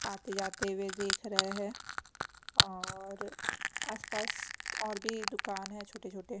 आते जाते हुए देख रहे हैं औऔर आसपास और भी दुकान है छोटे छोटे --